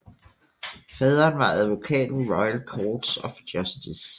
Faderen var advokat ved Royal Courts of Justice